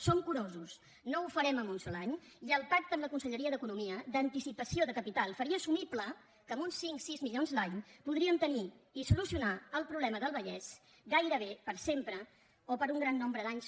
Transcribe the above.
som curosos no ho farem en un sol any i el pacte amb la conselleria d’economia d’anticipació de capital faria assumible que amb uns cinc sis milions l’any podríem tenir i solucionar el problema del vallès gairebé per sempre o per un gran nombre d’anys